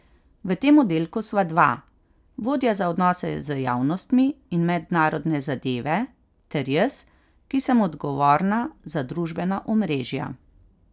V tem oddelku sva dva, vodja za odnose z javnostmi in mednarodne zadeve ter jaz, ki sem odgovorna za družbena omrežja.